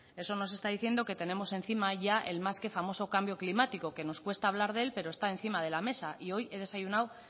eso nos está diciendo que tenemos encima ya el más que famoso cambio climático que nos cuesta hablar de él pero está encima de la mesa y hoy he desayunado